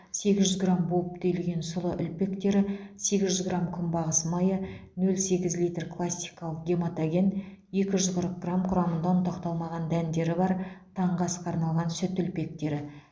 сегіз жүз грамм буып түйілген сұлы үлпектері сегіз жүз грамм күнбағыс майы нөл сегіз литр классикалық гематоген екі жүз қырық грамм құрамында ұнтақталмаған дәндері бар таңғы асқа арналған сүт үлпектері